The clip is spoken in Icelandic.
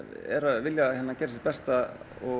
vilja gera sitt besta og